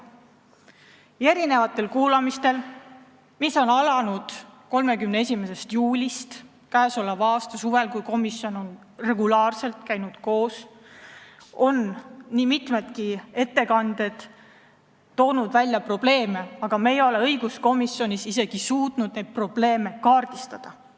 Mitmetel kuulamistel, mis algasid 31. juulil, käesoleva aasta suvel – komisjon on regulaarselt koos käinud –, on nii mitmedki ettekandjad toonud välja probleeme, aga me ei ole õiguskomisjonis suutnud neid probleeme isegi kaardistada.